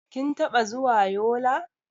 Kin taɓa zuwa Yola?